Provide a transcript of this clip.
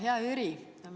Hea Jüri!